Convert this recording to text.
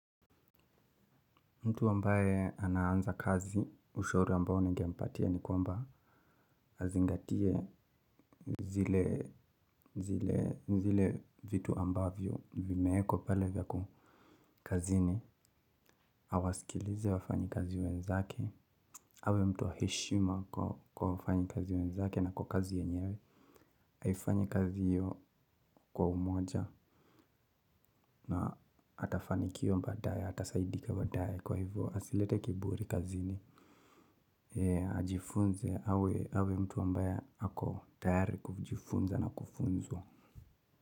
Mtu ambaye anaanza kazi, ushauri ambao ningempatia ni kwamba azingatie zile vitu ambavyo vimeekwa pale vyaku kazini, awasikilize wafanyikazi wenzake, awe mtu wa heshima kwa wafanyikazi wenzake na kwa kazi yenyewe, haifanyi kazi hiyo kwa umoja na atafanikiwa baadaye, atasaidika baadaye kwa hivyo, asilete kiburi kazini, ajifunze awe mtu ambaye ako tayari kujifunza na kufunzu.